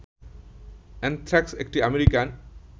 anthrax একটি American